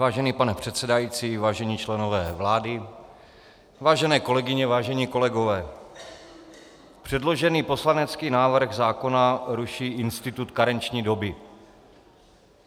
Vážený pane předsedající, vážení členové vlády, vážené kolegyně, vážení kolegové, předložený poslanecký návrh zákona ruší institut karenční doby.